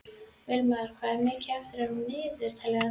Vilma, hvað er mikið eftir af niðurteljaranum?